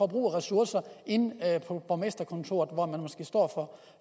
bruge ressourcer inde på borgmesterkontoret hvor man måske står